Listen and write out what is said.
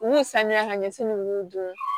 U sanuya ka ɲɛsin ninnu dun